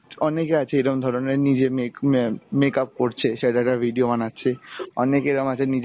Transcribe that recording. অনেকে আছে এরম ধরনের নিজের make make up করছে, ছেলেরা video বানাচ্ছে অনেকে এরম আছে নিজে